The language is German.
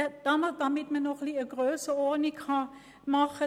Damit man die Grössenordnung versteht: